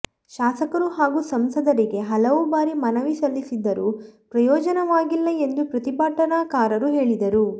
ಶಾಸಕರು ಹಾಗೂ ಸಂಸದರಿಗೆ ಹಲವು ಬಾರಿ ಮನವಿ ಸಲ್ಲಿಸಿದ್ದರೂ ಪ್ರಯೋಜನವಾಗಿಲ್ಲ ಎಂದು ಪ್ರತಿಭಟನಾಕಾರರು ಹೇಳಿದರು